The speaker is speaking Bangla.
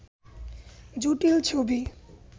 জটিল ছবি